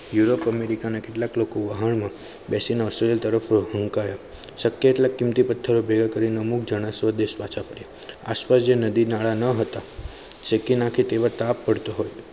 europe america ના કેટલાક લોકો વાહન માં વશેના સુરેલ તરેફ ના શક્યા એટલા કીમતી પથ્થરો ભેગા કરીને અમુક જના સ્વદેશ પાછા આસપાસ જે નદી નાળા ન હતા શેકી નાખે તેવા તાપ પડતો હતો